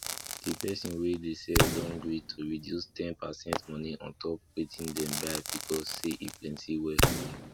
the person wey dey sell don gree to reduce ten percent money on top wetin dem buy because say e plenty well